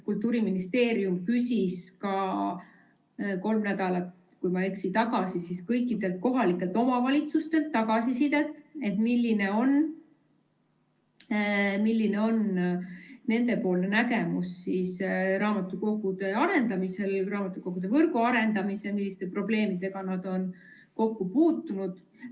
Kultuuriministeerium küsis ka kolm nädalat tagasi, kui ma ei eksi, kõigilt kohalikelt omavalitsustelt tagasisidet, milline on nende nägemus raamatukogude arendamisest, raamatukogude võrgu arendamisest ja milliste probleemidega nad on kokku puutunud.